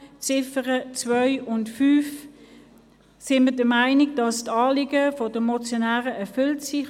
Bezüglich der Ziffern 2 und 5 sind wir der Meinung, dass die Anliegen der Motionäre erfüllt sind;